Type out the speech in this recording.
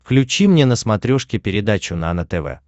включи мне на смотрешке передачу нано тв